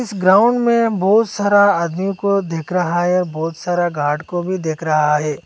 Ground में बहुत सारा आदमी को देख रहा है बहुत सारा गार्ड को भी देख रहा है।